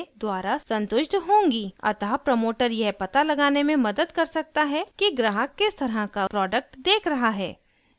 अतः प्रमोटर यह पता लगाने में मदद कर सकता है कि ग्राहक किस तरह का प्रोडक्ट देख रहा है